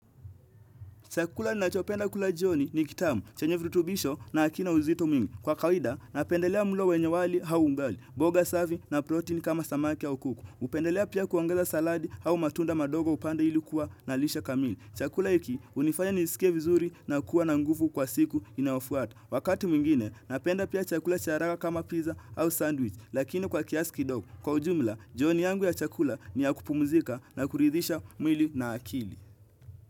Chakula ninachopenda kula jioni ni kitamu. Chenye vitubisho na hakina uzito mingi. Kwa kawida, napendelea mulo wenye wali au ugali. Mboga safi na protein kama samaki au kuku. Hupendelea pia kuongeza saladi au matunda madogo upande ilikuwa na lishe kamili. Chakula hiki unifanya nisike vizuri na kuwa na nguvu kwa siku inaofuata. Wakati mwingine, napenda pia chakula cha raha kama pizza au sandwich. Lakini kwa kiasi kidoko. Kwa ujumla, jioni yangu ya chakula niyakupumzika na kuridhisha mwili na akili.